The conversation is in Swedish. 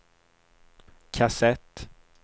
kassett